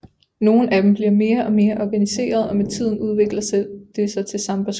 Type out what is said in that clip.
Nogle af dem bliver mere og mere organiserede og med tiden udvikler det sig til sambaskoler